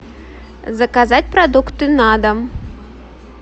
заказать продукты на дом